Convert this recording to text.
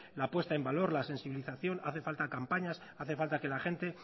la puesta en valor la sensibilización hace falta campañas hace falta que la gente